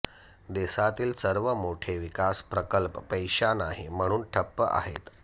देशातील सर्व मोठे विकास प्रकल्प पैसा नाही म्हणून ठप्प आहेत